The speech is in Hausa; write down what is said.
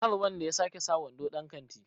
kar wanda ya sake sa wando dan kanti!